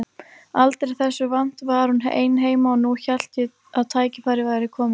Aldrei þessu vant var hún ein heima og nú hélt ég að tækifærið væri komið.